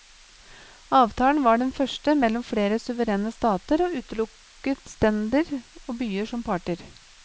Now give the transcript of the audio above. Avtalen var den første mellom flere suverene stater, og utelukket stender og byer som parter.